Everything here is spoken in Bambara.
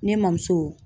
Ne ma muso